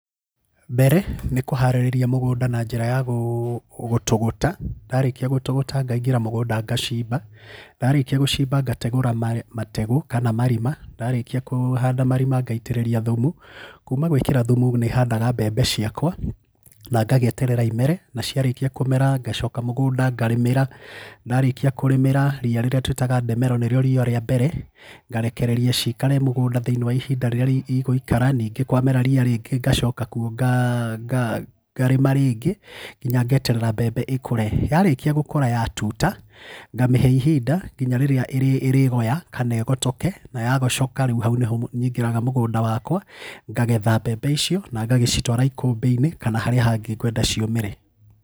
Mbere, nĩ kũharĩria mũgunda na njĩra ya gũtũgũta, ndarĩkia gũtũgũta ngaingĩra mũgũnda ngacimba. Ndarĩkia gũcimba ngategũra ma mategũ kana marima, ndarĩkia kũũhanda marima ngaitĩrĩria thumu. Kuma gwĩkĩra thumu nĩhandaga mbembe ciakwa, na ngagĩeterera imere, na ciarĩkia kũmera ngacoka mũgunda ngarĩmĩra, ndarĩkia kũrĩmĩra ria rĩrĩa tũĩtaga ndemero nĩrĩo ria rĩa mbere ngarekereria cikare mũgũnda thĩinĩ wa ihinda rĩrĩa igũikara ningĩ kwamera ria rĩngĩ ngacoka kwo nga ngaa ngarĩma rĩngĩ, nginya ngeterera mbembe ĩkure. Yarĩkia gũkũra yatuta, ngamĩhe ihinda nginya rĩrĩa ĩrĩ ĩrĩgoya kana igotoke na yagocoka rĩu hau nĩho nyingĩraga mũgũnda wakwa, ngagetha mbembe icio, na ngagĩcitwara ikũmbĩ-inĩ, kana harĩa hangĩ ngwenda ciũmĩre.